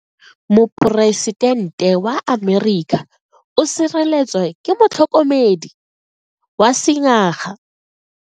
Poresitente wa Amerika o sireletswa ke motlhokomedi wa sengaga.